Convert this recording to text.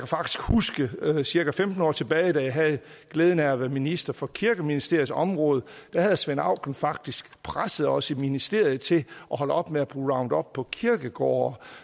faktisk huske cirka femten år tilbage da jeg havde glæden af at være minister for kirkeministeriets område der havde svend auken faktisk presset os i ministeriet til at holde op med at bruge roundup på kirkegårde